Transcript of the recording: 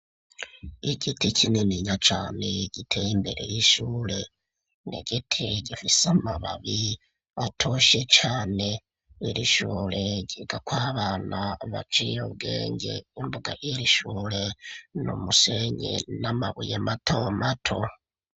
igiti kinininya cane giteye imbere y'ishure n'igiti gifise amababi atoshye cane iri shure ryigako abana baciye ubwenge imbuga yiri shure n, umusengi n'amabuye mato mato